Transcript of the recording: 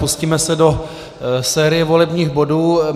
Pustíme se do série volebních bodů.